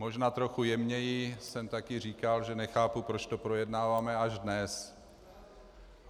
Možná trochu jemněji jsem taky říkal, že nechápu, proč to projednáváme až dnes.